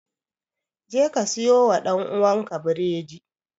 Jeka siyowa ɗan'uwanka biredi!